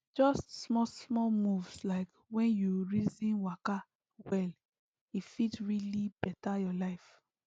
just smallsmall moves like when you reason waka well e fit really better your life